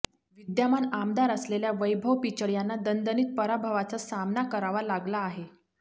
विद्यमान आमदार असलेल्या वैभव पिचड यांना दणदणीत पराभवाचा सामना करावा लागला आहे